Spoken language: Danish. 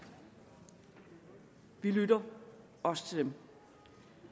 vi lytter også til dem det